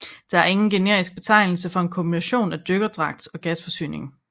Der er ingen generisk betegnelse for en kombination af dykkerdragt og gasforsyning